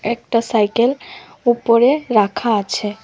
একটা সাইকেল উপরে রাখা আছে।